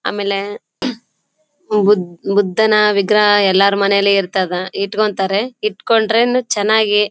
ಆಮೇಲೆ ಬುದ್ಧನ ವಿಗ್ರಹ ಎಲ್ಲರ ಮನೆಯಲ್ಲಿ ಇರ್ತದ ಇಡ್ಕೊಂಡ್ತಾರೇ. ಇಡ್ಕೊಂಡ್ರೇನು ಚೆನ್ನಾಗಿ--